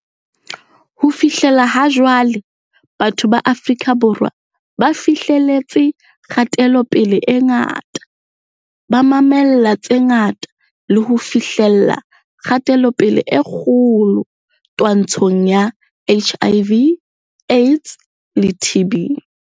Ho fihlela ha jwale, batho ba Afrika Borwa ba fi hleletse kgatelopele e ngata, ba mamella tse ngata le ho fihlella kgatelopele e kgolo twantshong ya HIV, AIDS le TB.